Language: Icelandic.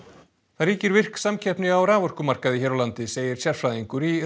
það ríkir virk samkeppni á raforkumarkaði hér á landi segir sérfræðingur í